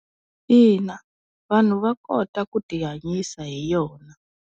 Ina. Vanhu va kota ku tihanyisa hi yona.